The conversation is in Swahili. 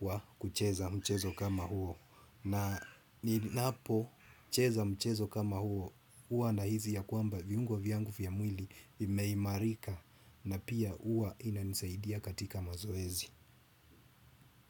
wa kucheza mchezo kama huo. Na ninapo, cheza mchezo kama huo, huwa na hisi ya kwamba viungo vyangu vya mwili vimeimarika na pia huwa inanisaidia katika mazoezi.